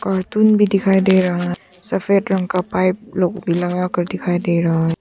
Cartoon भी दिखाई दे रहा है सफेद रंग का पाइप लोग लगाकर दिखाई दे रहा है।